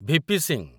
VP. Singh